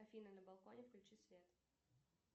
афина на балконе включи свет